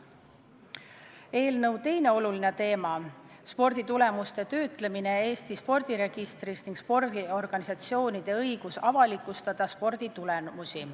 Eelnõu teine oluline teema on sporditulemuste töötlemine Eesti spordiregistris ning spordiorganisatsioonide õigus avalikustada sporditulemusi.